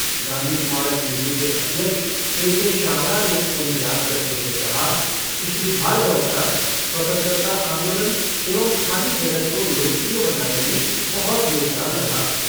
गाँधी स्मारक निधि के अध्यक्ष, के के शारदा ने उन्हें याद करते हुए कहा कि श्री भार्गव का स्वतन्त्रता आंदोलन एवं खादी जगत को लोकप्रिय बनाने में बहुत योगदान रहा है।